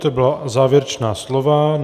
To byla závěrečná slova.